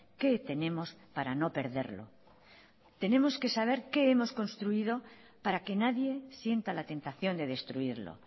qué tenemos para no perderlo tenemos que saber qué hemos construido para que nadie sienta la tentación de destruirlo